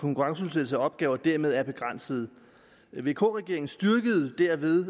konkurrenceudsætte opgaverne dermed er begrænsede vk regeringen styrkede derved